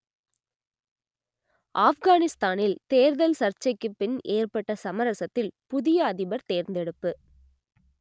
ஆப்கானிஸ்தானில் தேர்தல் சர்ச்சைக்கு பின் ஏற்பட்ட சமரசத்தில் புதிய அதிபர் தேர்ந்தெடுப்பு